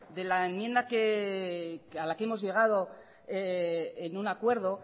de la enmienda a la que hemos llegado en un acuerdo